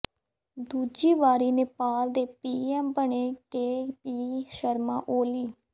ਦੂਜੀ ਵਾਰੀ ਨੇਪਾਲ ਦੇ ਪੀਐੱਮ ਬਣੇ ਕੇ ਪੀ ਸ਼ਰਮਾ ਓਲੀ